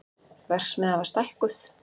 Verksmiðjan var stækkuð